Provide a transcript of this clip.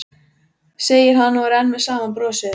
segir hann og er enn með sama brosið.